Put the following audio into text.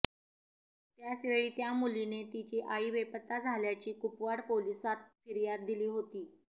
त्याचवेळी त्या मुलीने तिची आई बेपत्ता झाल्याची कुपवाड पोलिसात फिर्याद दिली होती